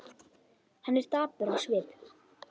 Hann er dapur á svip.